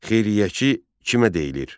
Xeyriyyəçi kimə deyilir?